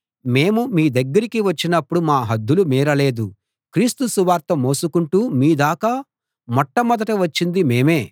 మేము మీ దగ్గరికి వచ్చినపుడు మా హద్దులు మీరలేదు క్రీస్తు సువార్త మోసుకుంటూ మీ దాకా మొట్టమొదట వచ్చింది మేమే